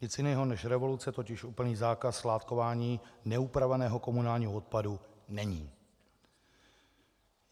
Nic jiného než revoluce totiž úplný zákaz skládkování neupraveného komunálního odpadu není.